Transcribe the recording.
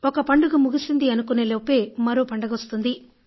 ఒక పండుగ ముగిసింది అనుకునేలోపే మరో పండుగ వస్తుంది